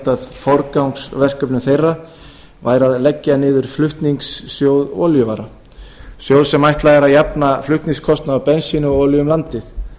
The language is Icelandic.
af forgangsverkefnum þeirra væri að leggja niður flutningssjóð olíuvara sjóð sem ætlað er að jafna flutningskostnað af bensíni og olíu um landið